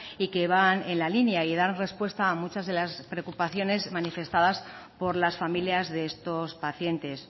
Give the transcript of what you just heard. y que van en la línea y dan respuestas a muchas de las preocupaciones manifestadas por las familias de estos pacientes